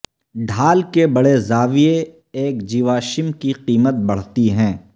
ڈھال کے بڑے زاویہ ایک جیواشم کی قیمت بڑھتی ہیں